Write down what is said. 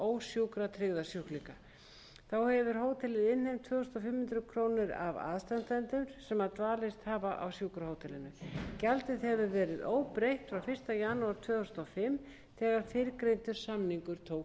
ósjúkratryggða sjúklinga þá hefur hótelið innheimt tvö þúsund fimm hundruð krónur af aðstandendum sem dvalist hafa á sjúkrahótelinu gjaldið hefur verið óbreytt frá fyrsta janúar tvö þúsund og fimm þegar fyrrgreindur samningur tók